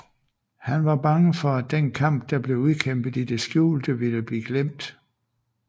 Han var bange for at den kamp der blev udkæmpet i det skjulte ville blive glemt